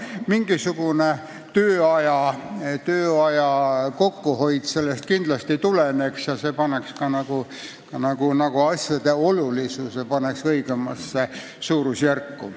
Mingisugune tööaja kokkuhoid sellest kindlasti tuleneks ja see paneks ka niisuguste asjade olulisuse õigemasse suurusjärku.